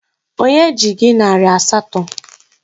Onye ji gị narị asatọ?